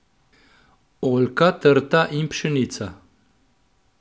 Oljka, trta in pšenica.